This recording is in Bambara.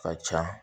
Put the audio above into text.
Ka ca